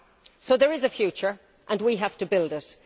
So there is a future and we have to build it.